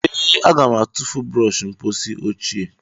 Ee, m ga-atụfu brọsh mposi ochie.